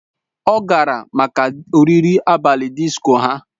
Ọ gara maka oriri abalị disko ha